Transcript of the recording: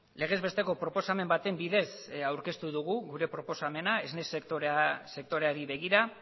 legez besteko proposamen baten bidez aurkeztu dugu gure proposamena esne sektoreari begira